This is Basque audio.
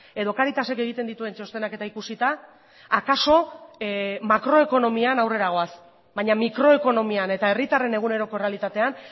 edo cáritasek egiten dituen txostenak eta ikusita akaso makroekonomian aurrera goaz baina mikroekonomian eta herritarren eguneroko errealitatean